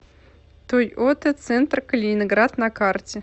тойота центр калининград на карте